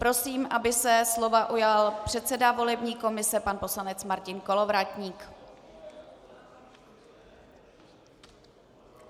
Prosím, aby se slova ujal předseda volební komise pan poslanec Martin Kolovratník.